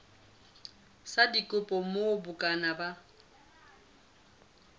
sa dikopo moo bukana ya